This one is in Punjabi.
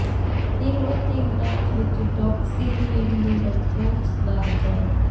ਨਿਰੋਧ ਦੇ ਇਲਾਜ ਵਿਚ ਡੌਕਸੀਲੇਅਮ ਦੀ ਵਰਤੋਂ ਬਾਰੇ ਜਾਣੋ